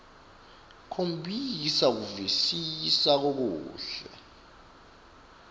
khombisa kuvisisa lokuhle